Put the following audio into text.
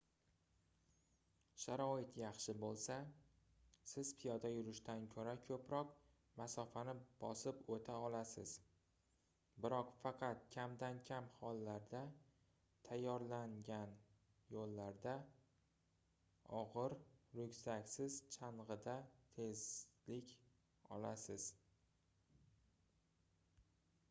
sharoit yaxshi boʻlsa siz piyoda yurishdan koʻra koʻproq masofani bosib oʻta olasiz biroq faqat kamdan-kam hollarda tayyorlangan yoʻllarda ogʻir ryukzaksiz changʻida tezlik olasiz